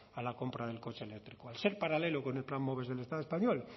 a la compra del coche eléctrico al ser paralelo con el plan moves del estado español